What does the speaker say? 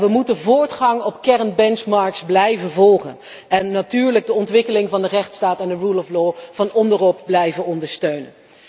We moeten voortgang op kern benchmarks blijven volgen en natuurlijk de ontwikkeling van de rechtsstaat van onderop blijven ondersteunen.